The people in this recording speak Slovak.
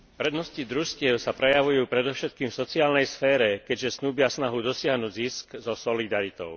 Prednosti družstiev sa prejavujú predovšetkým v sociálnej sfére, keďže snúbia snahu dosiahnuť zisk so solidaritou.